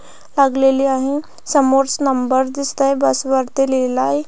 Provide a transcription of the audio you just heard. लागलेले आहे समोर नंबरस दिसत आहे बस वरती लिहलाय--